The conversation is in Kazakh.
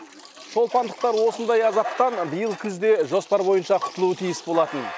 шолпандықтар осындай азаптан биыл күзде жоспар бойынша құтылуы тиіс болатын